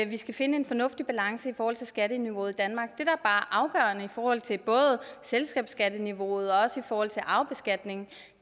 vi skal finde en fornuftig balance i forhold til skatteniveauet i danmark det der er afgørende både i forhold til selskabsskatteniveauet og også arvebeskatning